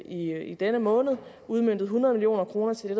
i denne måned udmøntet hundrede million kroner til det